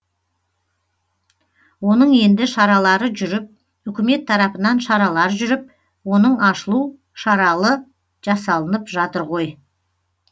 оның енді шаралары жүріп үкімет тарапынан шаралар жүріп оның ашылу шаралы жасалынып жатыр ғой